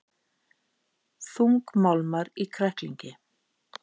Þungmálmar í kræklingi